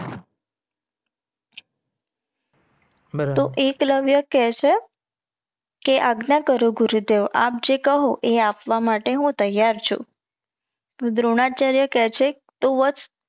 બરાબર તો એકલવ્ય કે છે કે આગ્ન્ય કરો ગુરુદેવ આપ જે કહો એ આપવા માટે હું તૈયાર છું. દ્રોણાચાર્ય કે છે તું વત્સ